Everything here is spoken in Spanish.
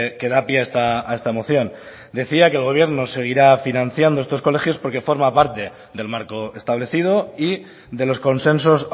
que da pie a esta moción decía que el gobierno seguirá financiando estos colegios porque forma parte del marco establecido y de los consensos